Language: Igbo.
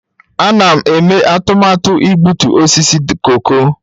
Ana m eme atụmatụ igbutu osisi koko.